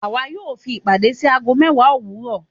Àwà yóò fi ìpàdé sí agó mewa owuro